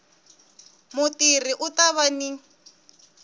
mutirhi u ta va ni